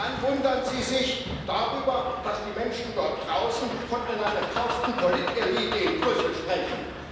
Und dann wundern Sie sich darüber, dass die Menschen dort draußen von einer gekauften Politelite in Brüssel sprechen?